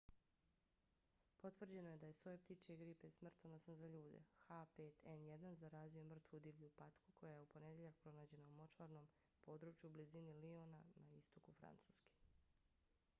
potvrđeno je da je soj ptičje gripe smrtonosan za ljude h5n1 zarazio mrtvu divlju patku koja je u ponedjeljak pronađena u močvarnom području u blizini liona na istoku francuske